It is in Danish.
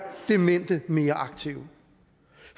demente mere aktive